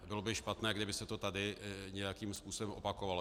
Bylo by špatné, kdyby se to tady nějakým způsobem opakovalo.